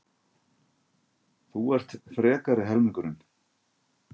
Þú ert frekari helmingurinn.